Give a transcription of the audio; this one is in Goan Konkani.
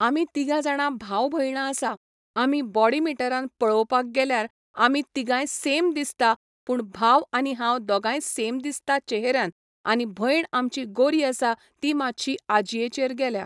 आमी तिगां जाणां भांव भयणां आसा आमी बोडी मिटरान पळोवपाक गेल्यार आमी तिगांय सेम दिसता पूण भांव आनी हांव दोगांय सेम दिसता चेहऱ्यान आनी भंयण आमची गोरी आसा ती मातशी आजयेचेर गेल्या